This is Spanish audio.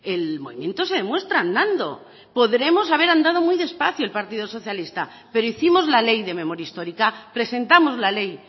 el movimiento se demuestra andando podremos haber andado muy despacio el partido socialista pero hicimos la ley de memoria histórica presentamos la ley